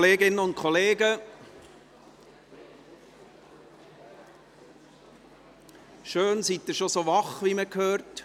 Liebe Kolleginnen und Kollegen, schön, sind Sie schon so wach, wie man hört.